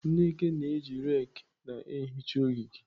Nneke na-eji rake na-ehicha ogige.